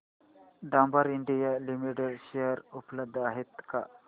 Dabur India limited share उपलब्ध आहेत का